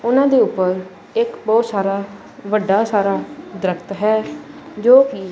ਓਹਨਾਂ ਦੇ ਊਪਰ ਇੱਕ ਬੋਹੁਤ ਸਾਰਾ ਵੱਡਾ ਸਾਰਾ ਦ੍ਰਖਤ ਹੈ ਜੋ ਕੀ--